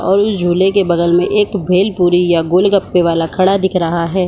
और झूले के बगल में एक भेलपुरी या एक गोलगप्पे वाला खड़ा दिख रहा है।